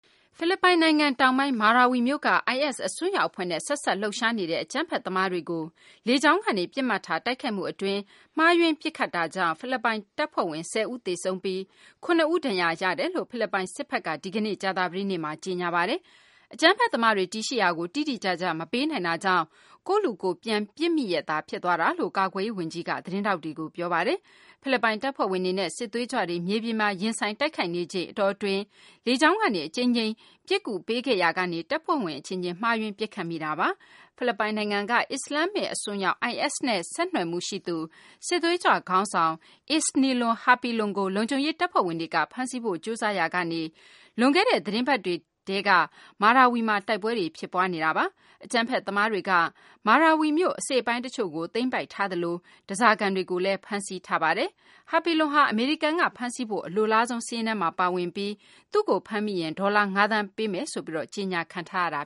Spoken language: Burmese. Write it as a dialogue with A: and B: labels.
A: ဖိလစ်ပိုင်တောင်ပိုင်း Marawi မြို့က IS အစွန်းရောက်အဖွဲ့နဲ့ ဆက်စပ်လှုပ်ရှားနေတဲ့ အကြမ်းဖက်သမားတွေကို လေကြောင်းကနေ ပစ်မှတ်ထားတိုက်ခိုက်မှုအတွင်း မှားယွင်းပစ်ခတ်မှုကြောင့် ဖိလစ်ပိုင် တပ်ဖွဲ့ဝင် ၁၀ ဦးသေဆုံးပြီး ၇ ဦး ဒဏ်ရာရသွားတယ်လို့ ဖိလစ်ပိုင် စစ်ဖက်က ဒီကနေ့ ကြာသပတေးနေ့မှာ ကြေညာပါတယ်။ အကြမ်းဖက်သမားတွေ တည်ရှိရာကို တိတိကျကျ မပေးနိုင်တာကြောင့် ကိုယ့်လူ ကိုယ်ပြန်ပစ်မိရက်သား ဖြစ်သွားတယ်လို့ ကာကွယ်ရေးဝန်ကြီး Delfin Lorenzan က သတင်းထောက်တွေကို ပြောပါတယ်။ ဖိလစ်ပိုင် တပ်ဖွဲ့ဝင်တွေနဲ့ စစ်သွေးကြွတွေ မြေပြင်မှာ ရင်ဆိုင်တိုက်နေချိန်အတောအတွင်း လေကြောင်းကနေ အကြိမ်ကြိမ်အဖန်ဖန် ပစ်ကူပေးခဲ့ရာကနေ တပ်ဖွဲ့ဝင်အချင်းချင်း မှားယွင်းပစ်ခတ်မိတာပါ။ ဖိလစ်ပိုင်နိုင်ငံက IS ခေါင်းဆောင်ဆိုသူ Isnilon Hapilon ကို လုံခြုံရေးတပ်ဖွဲ့ဝင်တွေက ဖမ်းဆီးဖို့ ကြိုးစားရာကနေ လွန်ခဲ့တဲ့ သီတင်းပတ်အတွင်းထဲက Marawi မှာ တိုက်ပွဲတွေ ဖြစ်ပွါးနေတာပါ။ အကြမ်းဖက်သမားတွေဟာ Marawi မြို့ အစိတ်အပိုင်းတချို့ကို သိမ်းပိုက်ထားသလို ဓါးစာခံတွေကိုလည်း ဖမ်းဆီးထားပါတယ်။ Hapilon ဟာ အမေရိကန်ကဖမ်းဆီးဖို့ အလိုလားဆုံး စာရင်းထဲမှာပါဝင်ပြီး သူ့ကို ဖမ်းမိလျင် ဒေါ်လာ ၅ သန်း ပေးအပ်မယ်ဆိုပြီး ကြေညာထားတာ